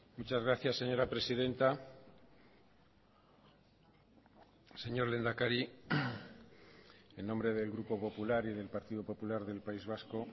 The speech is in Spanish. muchas gracias señora presidenta señor lehendakari en nombre del grupo popular y del partido popular del país vasco